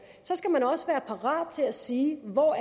skal man også være parat til at sige hvor